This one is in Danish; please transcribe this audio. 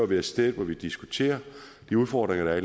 være et sted hvor vi diskuterer de udfordringer der er